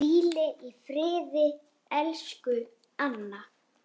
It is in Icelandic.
Hvíl í friði, elsku Anna.